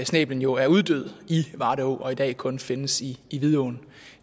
snæblen jo er uddød i varde å og i dag kun findes i i vidåen